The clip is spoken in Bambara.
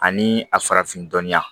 Ani a farafin dɔnniya